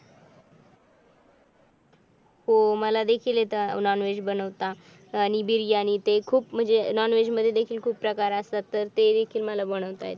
हो मला देखील येतं नॉनव्हेज बनवता आणि बिर्याणी ते खूप म्हणजे नॉनव्हेज म्हणजे नॉनव्हेज मध्ये देखील खूप प्रकार असतात तर हे देखील मला बनवता येतात.